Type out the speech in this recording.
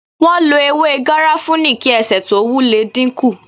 Wọn lo ewé garafuni kí ẹsẹ tó wu le dínkù